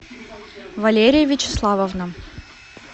валерия вячеславовна